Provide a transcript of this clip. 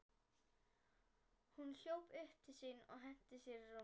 Hún hljóp upp til sín og henti sér í rúmið.